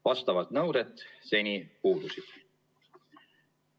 Vastavad nõuded seni puudusid.